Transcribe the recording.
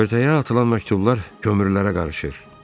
Körtəyə atılan məktublar kömürlərə qarışır.